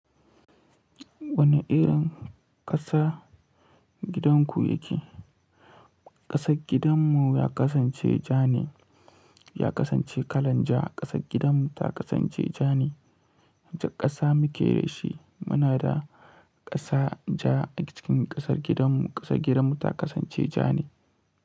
Wane irin ƙasa gidanku yake? Ƙasar gidan mu ya kasance ja ne ya kasance kalan ja. Ƙasar gidan mu ta kasance ja ne. Wacce ƙasa muke da shi? Muna da ƙasa ja a cikin ƙasar gidanmu. Ƙasar gidan mu ta kasance ja ne.